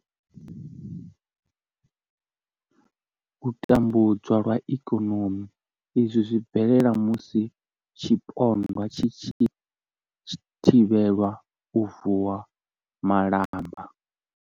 U tambudzwa lwa ikonomi izwi zwi bvelela musi tshipondwa tshi tshi thivhelwa u vuwa malamba.